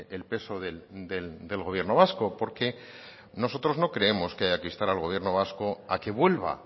el peso del gobierno vasco porque nosotros no creemos que haya que instar al gobierno vasco a que vuelva